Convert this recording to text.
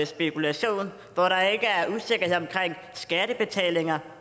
spekulation hvor der ikke er usikkerhed omkring skattebetalinger